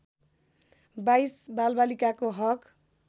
२२ बालबालिकाको हक